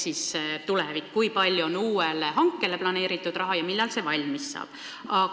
See oli tuleviku kohta: kui palju on planeeritud raha uue hanke tarbeks ja millal see asi valmis saab?